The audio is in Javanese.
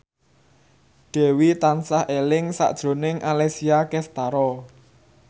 Dewi tansah eling sakjroning Alessia Cestaro